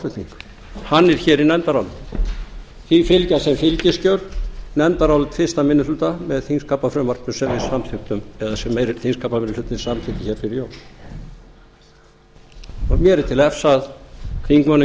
málflutning hann er hér í nefndarálitinu því fylgja sem fylgiskjöl nefndarálit fyrsti minni hluta með þingskapafrumvarpinu sem við samþykktum eða sem þingskapameirihlutinn samþykkti hér fyrir jól mér er til efs að þingmönnum